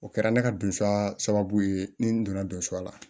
O kɛra ne ka donsa sababu ye ni n donna donsa la